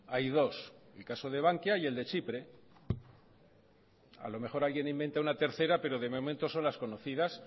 hay dos el caso de bankia y el de chipre a lo mejor alguien inventa una tercera pero de momento son las conocidas